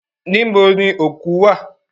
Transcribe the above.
Níbo ni òkú wà?